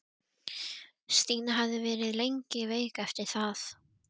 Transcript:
Stína hafði verið lengi veik eftir það.